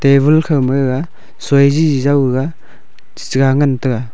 table khow ma gaga soi jiji jaw gaga chi chiga ngan tega.